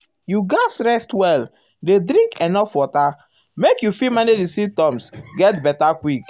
you gatz rest well rest well dey drink enuf water um make you um fit manage di symptoms get beta quick.